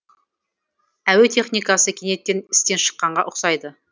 әуе техникасы кенеттен істен шыққанға ұқсайды